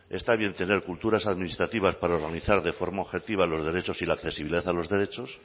está bien tener culturas administrativas para organizar de forma objetiva los derechos y la accesibilidad a los derechos